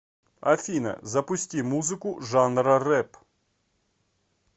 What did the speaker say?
афина запусти музыку жанра рэп